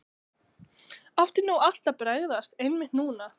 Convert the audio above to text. Átti nú allt að bregðast, einmitt núna?